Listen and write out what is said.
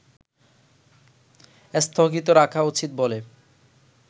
স্থগিত রাখা উচিত বলে